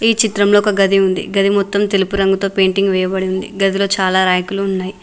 ఈ చిత్రంలో ఒక గది ఉంది గది మొత్తం తెలుపు రంగులో పెయింటింగ్ వేయబడి ఉంది గదిలో చాలా రాకులు ఉన్నాయి.